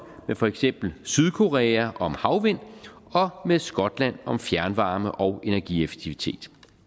med for eksempel sydkorea om havvind og med skotland om fjernvarme og energieffektivitet